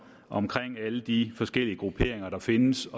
om alle de forskellige grupperinger der findes